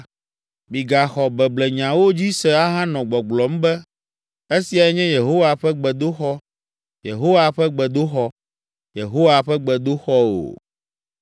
Migaxɔ beblenyawo dzi se ahanɔ gbɔgblɔm be, “Esiae nye Yehowa ƒe gbedoxɔ, Yehowa ƒe gbedoxɔ, Yehowa ƒe gbedoxɔ o!”